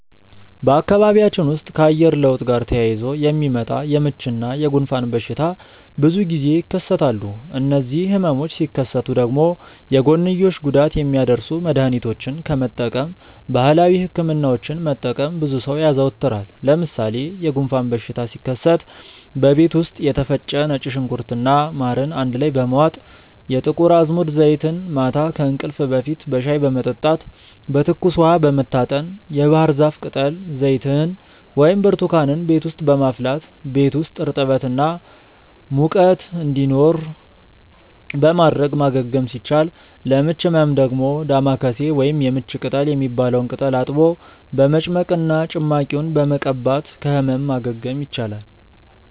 በአካባቢያችን ውስጥ ከአየር ለውጥ ጋር ተያይዞ የሚመጣ የምች እና የጉንፋን በሽታ ብዙ ጊዜ ይከሰታሉ። እነዚህ ህመሞች ሲከሰቱ ደግሞ የጎንዮሽ ጉዳት የሚያደርሱ መድሀኒቶችን ከመጠቀም ባህላዊ ህክምናዎችን መጠቀምን ብዙ ሰው ያዘወትራል። ለምሳሌ የጉንፋን በሽታ ሲከሰት በቤት ውስጥ የተፈጨ ነጭ ሽንኩርት እና ማርን አንድ ላይ በመዋጥ፣ የጥቁር አዝሙድ ዘይትን ማታ ከእንቅልፍ በፊት በሻይ በመጠጣት፣ በትኩስ ውሃ በመታጠን፣ የባህርዛፍ ቅጠል ዘይትን ወይም ብርቱካንን ቤት ውስጥ በማፍላት ቤት ውስጥ እርጥበት እና ሙቀት እንዲኖር በማድረግ ማገገም ሲቻል፤ ለምች ህመም ደግሞ ዳማከሴ ወይም የምች ቅጠል የሚባለውን ቅጠል አጥቦ በመጭመቅ እና ጭማቂውን በመቀባት ከህመም ማገገም ይቻላል።